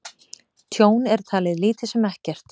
Tjón er talið lítið sem ekkert